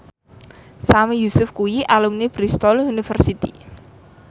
Sami Yusuf kuwi alumni Bristol university